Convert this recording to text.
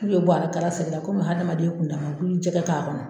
N'u ye a kala segin la komi adamaden kun dama u kun mi jɛgɛ kɛ a kɔnɔ